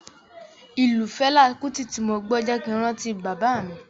Ìlù Fẹlá Kúti tí mo gbọ́ jẹ́ kin rántí bàbá mi.